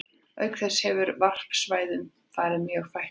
Auk þess hefur varpsvæðum farið mjög fækkandi.